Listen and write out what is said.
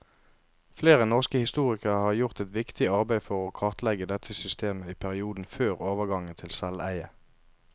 Flere norske historikere har gjort et viktig arbeid for å kartlegge dette systemet i perioden før overgangen til selveie.